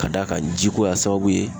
Ka d'a kan ji ko y'a sababu ye.